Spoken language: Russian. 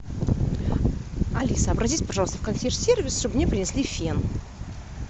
алиса обратись пожалуйста в консьерж сервис чтобы мне принесли фен